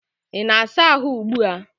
Ị na-asa ahụ ugbua?